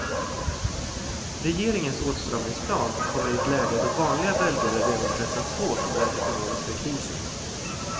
Regeringens åtstramningsplan kommer i ett läge då vanliga belgare redan pressats hårt av den ekonomiska krisen.